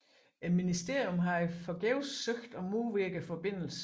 Ministeriet havde forgæves søgt at modvirke forbindelsen